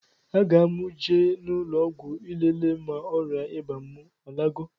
A ga mụ eje n' ụlọgwụ lele ma ọria ịba mụ alagọ